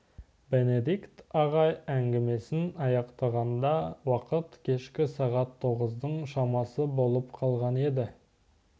бенедикт ағай әңгімесін аяқтағанда уақыт кешкі сағат тоғыздың шамасы болып қалған еді